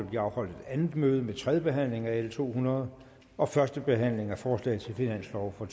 blive afholdt et andet møde med tredje behandling af l to hundrede og første behandling af forslag til finanslov for